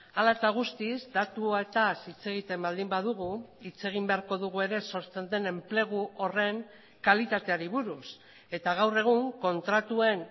hala eta guztiz datuetaz hitz egiten baldin badugu hitz egin beharko dugu ere sortzen den enplegu horren kalitateari buruz eta gaur egun kontratuen